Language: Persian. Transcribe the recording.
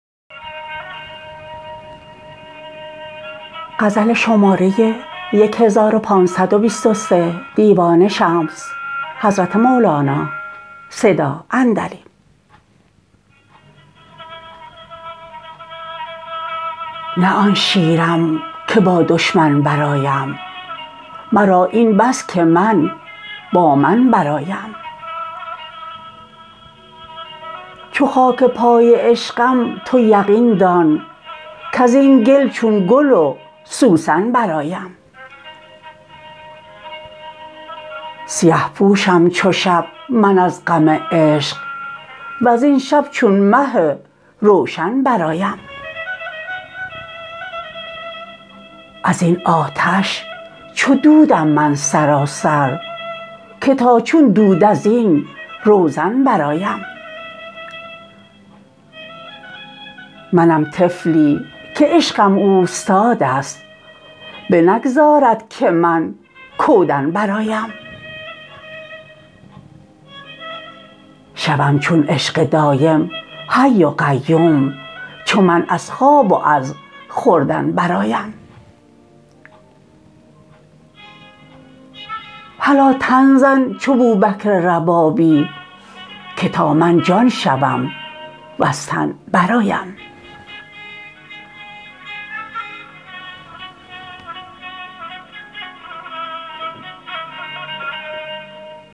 نه آن شیرم که با دشمن برآیم مرا این بس که من با من برآیم چو خاک پای عشقم تو یقین دان کز این گل چون گل و سوسن برآیم سیه پوشم چو شب من از غم عشق وزین شب چون مه روشن برآیم از این آتش چو دود م من سراسر که تا چون دود از این روزن برآیم منم طفلی که عشقم اوستاد است بنگذارد که من کودن برآیم شوم چون عشق دایم حی و قیوم چو من از خواب و از خوردن برآیم هلا تن زن چو بوبکر ربابی که تا من جان شوم وز تن برآیم